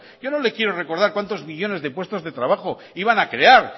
yo no le quiero recordar cuantos millónes de puestos de trabajo iban a crear